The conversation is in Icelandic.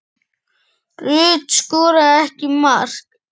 Rut skoraði ekki mark.